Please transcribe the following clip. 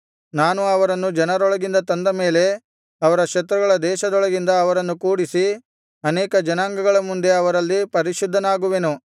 ನಾನು ಅವರನ್ನು ಜನರೊಳಗಿಂದ ತಂದ ಮೇಲೆ ಅವರ ಶತ್ರುಗಳ ದೇಶದೊಳಗಿಂದ ಅವರನ್ನು ಕೂಡಿಸಿ ಅನೇಕ ಜನಾಂಗಗಳ ಮುಂದೆ ಅವರಲ್ಲಿ ಪರಿಶುದ್ಧನಾಗುವೆನು